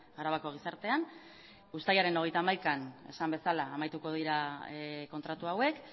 arabako gizartean uztailaren hogeita hamaikan esan bezala amaituko dira kontratu hauek